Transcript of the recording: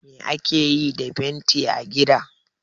Me ake yi da fenti a gida?